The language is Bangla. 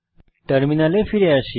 টার্মিনালে ফিরে আসি